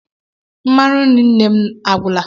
Mmanụ nri nne m a gwụla.